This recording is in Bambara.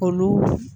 Olu